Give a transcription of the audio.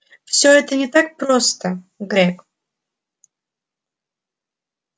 все это не так просто грег